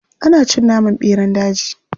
Ana cin naman ɓeran daji.